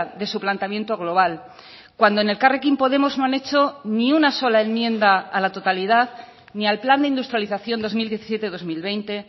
de su planteamiento global cuando en elkarrekin podemos no han hecho ni una sola enmienda a la totalidad ni al plan de industrialización dos mil diecisiete dos mil veinte